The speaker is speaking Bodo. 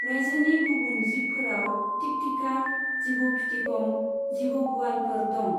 रायजोनि गुबुन जिबफोराव थिकथिखा, जिबौ फिथिग'म, जिबौ गुवालफोर दं।